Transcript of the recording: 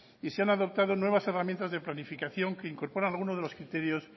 y se han adoptado nuevas herramientas de planificación que incorpora alguno de los criterios